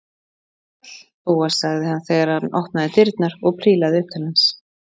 Sæll, Bóas- sagði hann þegar opnaði dyrnar og prílaði upp til hans.